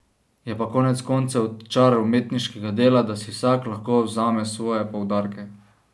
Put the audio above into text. Je pa konec koncev čar umetniškega dela, da si vsak lahko vzame svoje poudarke.